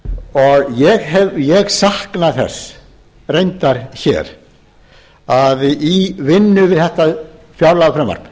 og ég sakna þess reyndar hér að í vinnu við þetta fjárlagafrumvarp